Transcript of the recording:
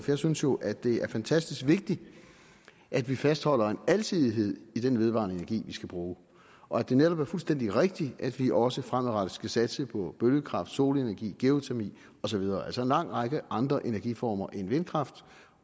jeg synes jo at det er fantastisk vigtigt at vi fastholder en alsidighed i den vedvarende energi vi skal bruge og at det netop er fuldstændig rigtigt at vi også fremadrettet skal satse på bølgekraft solenergi geotermi og så videre altså en lang række andre energiformer end vindkraft